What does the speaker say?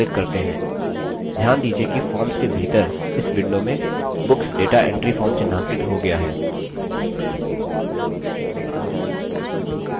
ध्यान दीजिये कि forms के भीतर इस window में books data entry form चिह्नांकित हो गया है